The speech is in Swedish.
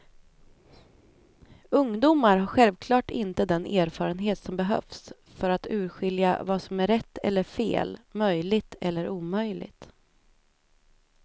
Ungdomar har självklart inte den erfarenhet som behövs för att urskilja vad som är rätt eller fel, möjligt eller omöjligt.